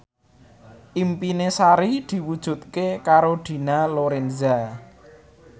impine Sari diwujudke karo Dina Lorenza